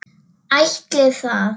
Ætli það?